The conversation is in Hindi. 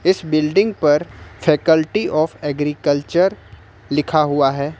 इस बिल्डिंग पर फैकेल्टी आफ एग्रीकल्चर लिखा हुआ है।